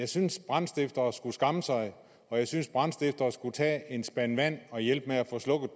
synes brandstiftere skulle skamme sig og jeg synes brandstiftere skulle tage en spand vand og hjælpe med at få slukket